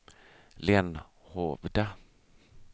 Lenhovda